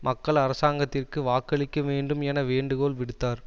மக்கள் அரசாங்கத்திற்கு வாக்களிக்க வேண்டும் என வேண்டுகோள் விடுத்தார்